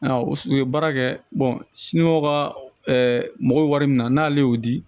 Ayiwa u ye baara kɛ ka mago min na n'ale y'o di